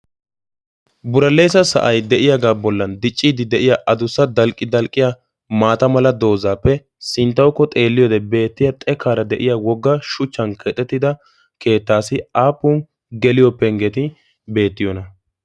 buraleesa sa'ay de'iyaagaa bollan dicciidi de'iya adussa dalqqi dalqqiya maata mala doozaappe sinttaukko xeelliyoode beettiya xekaara de'iya wogga shuchchan kexettida keettaasi aapun geliyopenggeti beettiyoona